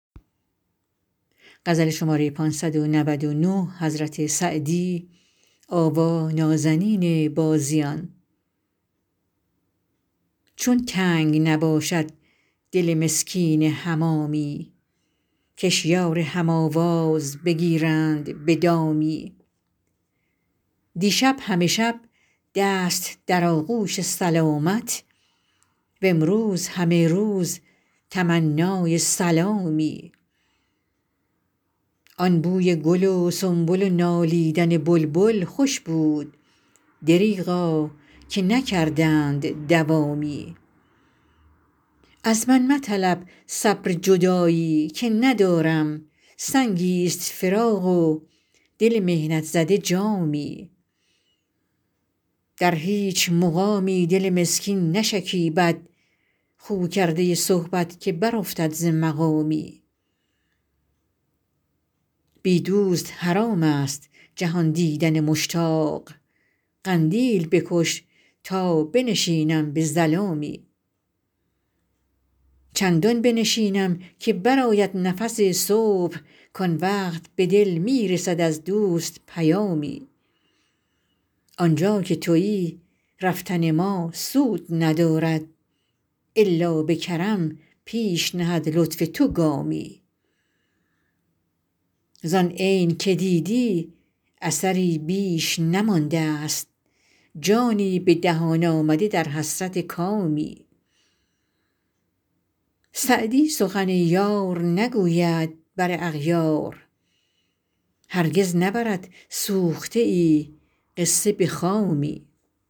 چون تنگ نباشد دل مسکین حمامی کش یار هم آواز بگیرند به دامی دیشب همه شب دست در آغوش سلامت وامروز همه روز تمنای سلامی آن بوی گل و سنبل و نالیدن بلبل خوش بود دریغا که نکردند دوامی از من مطلب صبر جدایی که ندارم سنگی ست فراق و دل محنت زده جامی در هیچ مقامی دل مسکین نشکیبد خو کرده صحبت که برافتد ز مقامی بی دوست حرام است جهان دیدن مشتاق قندیل بکش تا بنشینم به ظلامی چندان بنشینم که برآید نفس صبح کآن وقت به دل می رسد از دوست پیامی آن جا که تویی رفتن ما سود ندارد الا به کرم پیش نهد لطف تو گامی زآن عین که دیدی اثری بیش نمانده ست جانی به دهان آمده در حسرت کامی سعدی سخن یار نگوید بر اغیار هرگز نبرد سوخته ای قصه به خامی